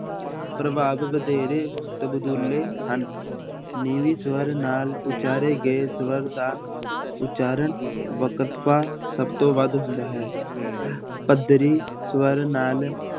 ਪ੍ਰਭਾਵ ਵਧੇਰੇ ਹਨ, ਨੀਵੀਂ ਸਵਰ ਨਾਲ ਉਚਾਰੇ ਗਏ ਸਵਰ ਦਾ ਉਚਾਰਨ ਵਕਫ਼ਾ ਸਭ ਤੋਂ ਵੱਧ ਹੁੰਦਾ ਹੈ ਪੱਧਰੀ ਸਵਰ ਨਾਲ